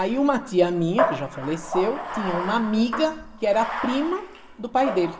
Aí uma tia minha, que já faleceu, tinha uma amiga que era prima do pai dele.